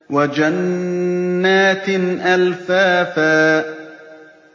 وَجَنَّاتٍ أَلْفَافًا